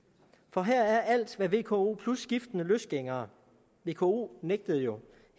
for her er alt hvad vko plus skiftende løsgængere vko nægtede jo